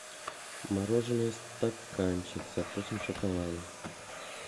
мороженое стаканчик со вкусом шоколада